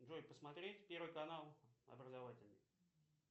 джой посмотреть первый канал образовательный